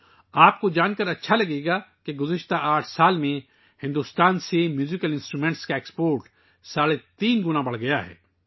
آپ کو یہ جان کر خوشی ہوگی کہ گزشتہ 8 سالوں میں بھارت سے موسیقی کے آلات کی برآمدات میں ساڑھے تین گنا اضافہ ہوا ہے